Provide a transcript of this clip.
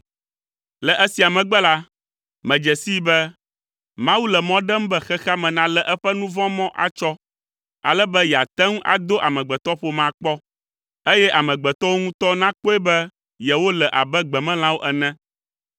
Le esia megbe la, medze sii be, “Mawu le mɔ ɖem be xexea me nalé eƒe nu vɔ̃ mɔ atsɔ, ale be yeate ŋu ado amegbetɔƒomea kpɔ, eye amegbetɔwo ŋutɔ nakpɔe be yewole abe gbemelãwo ene.